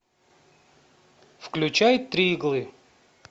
включай три иглы